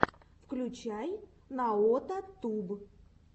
включай наотатуб